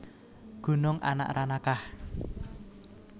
Gunung Anak Ranakah